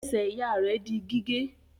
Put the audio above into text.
Ẹsẹ̀ ìyá rẹ̀ di gígé.